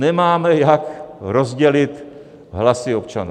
Nemáme, jak rozdělit hlasy občanů.